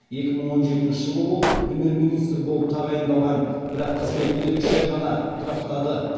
екі мың он жетінші жылы ол премьер министр болып тағайындалған бірақ қызметінде үш ай ғана тұрақтады